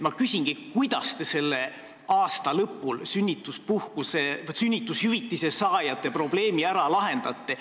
Ma küsingi: kuidas te selle aasta lõpul sünnitushüvitise saajate probleemi ära lahendate?